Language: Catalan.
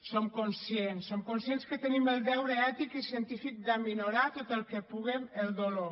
som conscients som conscients que tenim el deure ètic i científic de minorar tot el puguem el dolor